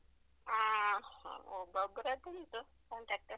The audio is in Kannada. ಹಾ, ಒಬ್ಬೊಬ್ರತ್ರುಂಟು contact .